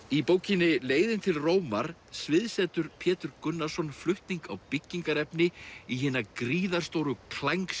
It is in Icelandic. í bókinni leiðin til Rómar Pétur Gunnarsson flutning á byggingaefni í hina gríðarstóru